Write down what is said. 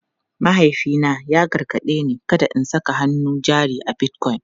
Mahaifina ya gargaɗe ni kada in saka hannun jari a Bitcoin.